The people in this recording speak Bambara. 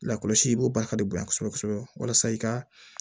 Lakɔlɔsi o baara ka di u ye kosɛbɛ kosɛbɛ walasa i ka